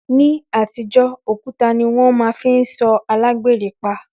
Ní àtijọ́, òkúta ni wọ́n máa fi ń sọ alágbèrè pa